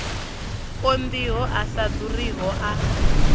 konḓiho a sa ḓuriho a